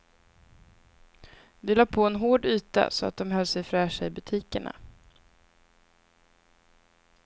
Vi lade på en hård yta så att de höll sig fräscha i butikerna.